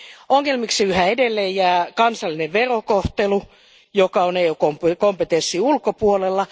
Ongelmaksi yhä edelleen jää kansallinen verokohtelu, joka on EUn kompetenssin ulkopuolella.